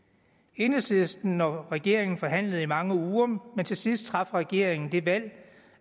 enhedslisten og regeringen forhandlede i mange uger men til sidst traf regeringen det valg